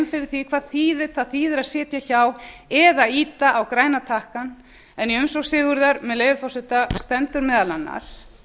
fyrir því hvað það þýðir að sitja hjá eða ýta á græna takkann en í umsókn sigurðar með leyfi forseta stendur meðal annars